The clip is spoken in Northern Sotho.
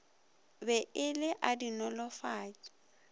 be e le a dinolofatši